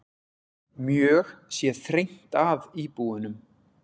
Mjög sé þrengt að íbúunum.